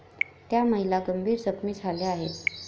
त्या महिला गंभीर जखमी झाल्या आहेत.